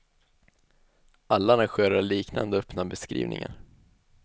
Alla arrangörer har liknande öppna beskrivningar.